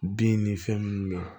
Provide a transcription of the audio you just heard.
Bin ni fɛn minnu bɛ yen